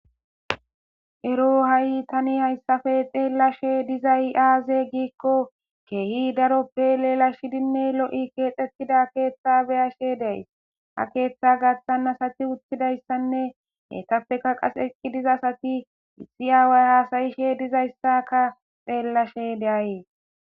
ero ha7i tani hayssafe xeellashe dizay aaze giikko keehi daroppe leelashidinne lo7i keexetida keeththa beyashe deay ha keeththa gaththanasati uchchidayssanne hetafeka qas eqqi dizasati issi aaway haasayishe dizayssaka xeellashe de'ays